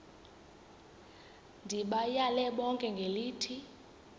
ndibayale bonke ngelithi